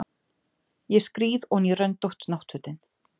Ég skríð oní röndótt náttfötin.